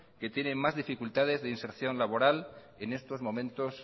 que tiene más dificultades de inserción laboral en estos momentos